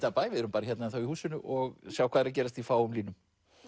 af bæ við erum ennþá hérna í húsinu og sjá hvað er að gerast í fáum línum